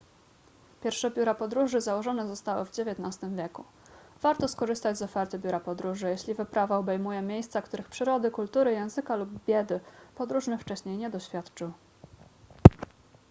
pierwsze biura podróży założone zostały w xix wieku warto skorzystać z oferty biura podróży jeśli wyprawa obejmuje miejsca których przyrody kultury języka lub biedy podróżny wcześniej nie doświadczył